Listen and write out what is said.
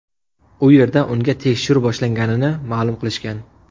U yerda unga tekshiruv boshlanganini ma’lum qilishgan.